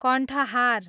कण्ठहार